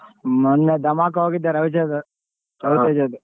ಮೊನ್ನೆ ಧಮಾಕ ಹೋಗಿದ್ದೆ ರವಿಚಂದ್ರನ್ .